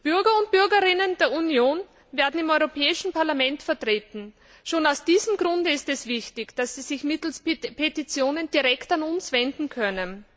Bürger und Bürgerinnen der Union werden im Europäischen Parlament vertreten. Schon aus diesem Grunde ist es wichtig, dass sie sich mittels Petitionen direkt an uns wenden können.